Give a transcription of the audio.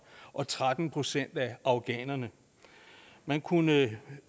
og tretten procent af afghanerne man kunne